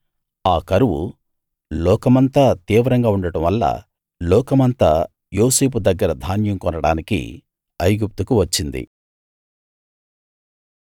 ఆ కరువు లోకమంతా తీవ్రంగా ఉండడం వల్ల లోకమంతా యోసేపు దగ్గర ధాన్యం కొనడానికి ఐగుప్తుకు వచ్చింది